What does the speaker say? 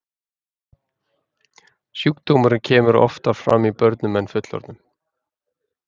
Sjúkdómurinn kemur oftar fram í börnum en fullorðnum.